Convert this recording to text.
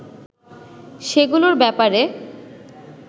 সেগুলোর ব্যাপারে